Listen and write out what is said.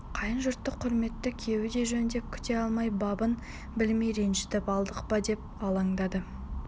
қайын жұрты құрметті күйеуді жөндеп күте алмай бабын білмей ренжітіп алдық па деп алаңдады